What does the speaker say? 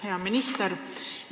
Hea minister!